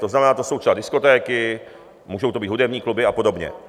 To znamená, to jsou třeba diskotéky, můžou to být hudební kluby a podobně.